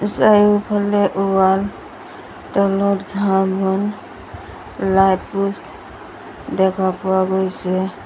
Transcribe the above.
চাৰিওফালে ৱাল তলত ঘাঁহ বন লাইট প'ষ্ট দেখা পোৱা গৈছে।